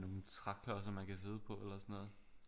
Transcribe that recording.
Med nogle træklodser man kan sidde på eller sådan noget